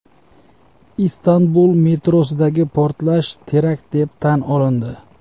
Istanbul metrosidagi portlash terakt deb tan olindi.